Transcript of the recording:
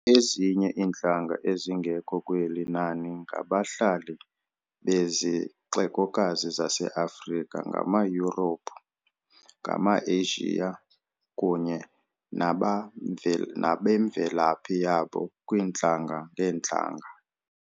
Ezinye iintlanga ezingekho kweli nani ngabahlali bezixekokazi zaseAfrika ngamaYurophu, ngamaAsia, kunye nabemvelaphi yabo kwiintlanga-ngeentlanga.